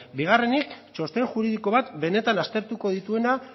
bigarrenik txosten juridiko bat benetan aztertuko dituena